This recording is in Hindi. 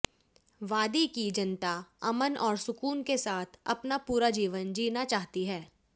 वादी की जनता अमन और सुकून के साथ अपना पूरा जीवन जीना चाहती है